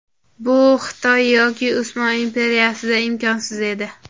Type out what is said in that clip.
Bu Xitoy yoki Usmon imperiyasida imkonsiz edi.